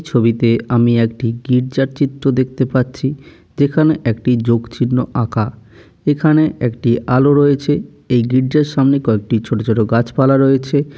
এই ছবিতে আমি একটি গির্জার চিত্র দেখতে পাচ্ছি । যেখানে একটি যোগ চিহ্ন আঁকা । এখানে একটি আলো রয়েছ। এই গির্জার সামনে কয়েকটি ছোট ছোট গাছপালা রয়েছে ।